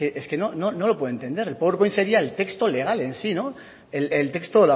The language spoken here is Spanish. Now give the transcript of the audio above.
es que no lo puede entender el powerpoint sería el texto legal en sí no el texto